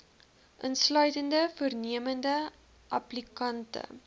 insluitende voornemende applikante